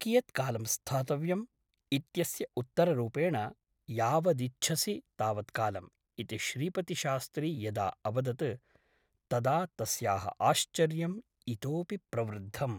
कियत्कालं स्थातव्यम् ? इत्यस्य उत्तररूपेण ' यावदिच्छसि तावत्कालम् ' इति श्रीपतिशास्त्री यदा अवदत् तदा तस्याः आश्चर्यम् इतोऽपि प्रवृद्धम् ।